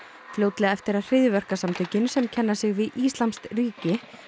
fljótlega eftir að hryðjuverkasamtökin sem kenna sig við íslamskt ríki